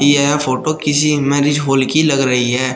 यह फोटो किसी marriage hall की लग रही है।